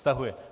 Stahuje.